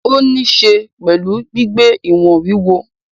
Ó ni ín se pẹ̀lú gbígbé ìwọ̀n wúwo.